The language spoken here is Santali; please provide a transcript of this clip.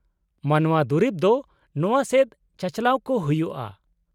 -ᱢᱟᱱᱚᱶᱟ ᱫᱩᱨᱤᱵ ᱫᱚ ᱱᱚᱶᱟ ᱥᱮᱫ ᱪᱟᱼᱪᱟᱞᱟᱣ ᱠᱚ ᱦᱩᱭᱩᱜᱼᱟ ᱾